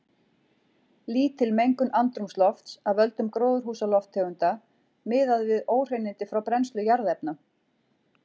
Lítil mengun andrúmslofts af völdum gróðurhúsalofttegunda miðað við óhreinindi frá brennslu jarðefna.